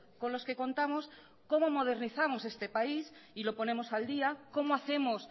con los que contamos cómo modernizamos este país y lo ponemos al día cómo hacemos